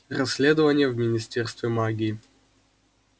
расследование в министерстве магии